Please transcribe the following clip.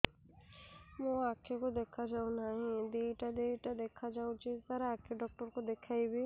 ମୋ ଆଖିକୁ ଦେଖା ଯାଉ ନାହିଁ ଦିଇଟା ଦିଇଟା ଦେଖା ଯାଉଛି ସାର୍ ଆଖି ଡକ୍ଟର କୁ ଦେଖାଇବି